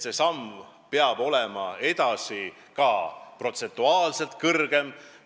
See samm peab olema edaspidi ka protsentuaalselt suurem.